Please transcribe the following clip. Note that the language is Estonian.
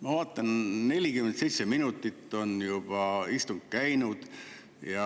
Ma vaatan, et istung on juba 47 minutit käinud.